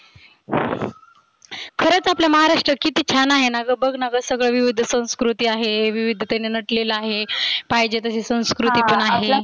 खरच आपल्या महाराष्ट्रात किती छान आहे ना ग. बघ ना ग सगळ विवीध संस्कृती आहे. विवीधतेने नटलेलं आहे पाहिजे तशी संस्कृती पण आहे.